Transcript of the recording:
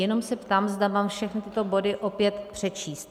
Jenom se ptám, zda mám všechny tyto body opět přečíst.